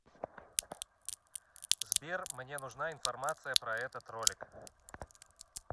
сбер мне нужна информация про этот ролик